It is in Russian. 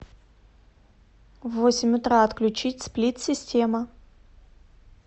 в восемь утра отключить сплит система